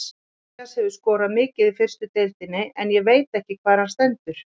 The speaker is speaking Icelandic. Matthías hefur skorað mikið í fyrstu deildinni en ég veit ekki hvar hann stendur.